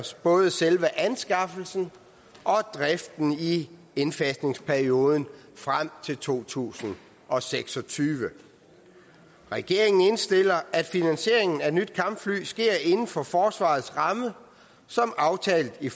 både selve anskaffelsen og driften i indfasningsperioden frem til to tusind og seks og tyve regeringen indstiller at finansieringen af nye kampfly sker inden for forsvarets ramme som aftalt i